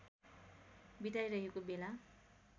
बिताइरहेको बेला